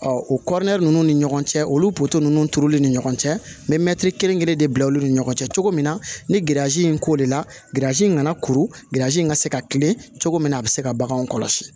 Ɔ o kɔrɔ ninnu ni ɲɔgɔn cɛ olu ninnu turuli ni ɲɔgɔn cɛ n bɛ mɛtiri kelen kelen de bila olu ni ɲɔgɔn cɛ cogo min na ni in ko de la ganzi in kana kuru gerzi in ka se ka kilen cogo min na a bɛ se ka baganw kɔlɔsi